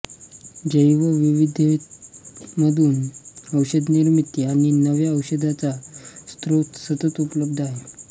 जैवविविधतेमधून औषध निर्मिती आणि नव्या औषधांचा स्रोत सतत उपलब्ध आहे